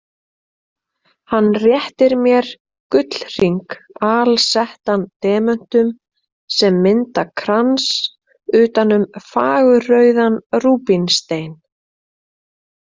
Hann réttir mér gullhring alsettan demöntum sem mynda krans utan um fagurrauðan rúbínstein.